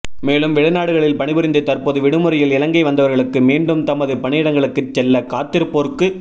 மேலும் வெளிநாடுகளில் பணிபுரிந்து தற்போது விடுமுறையில் இலங்கை வந்தவர்களுக்கு மீண்டும் தமது பணியிடங்களுக்கு செல்ல காத்திருப்போருக்கு